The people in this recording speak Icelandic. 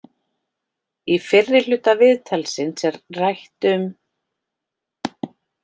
Í fyrri hluta viðtalsins er rætt um